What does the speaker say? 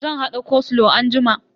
Zan hada koslow anjima.